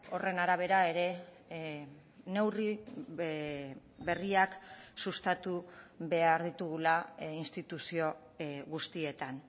horren arabera ere neurri berriak sustatu behar ditugula instituzio guztietan